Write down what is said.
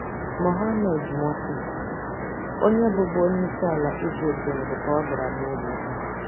Mohammed morsi, onye bụbu onye isi ala Egypt nwụrụ ka ọ dara n'ụlọ ikpe.